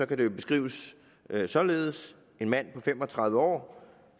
kan det jo beskrives således en mand på fem og tredive år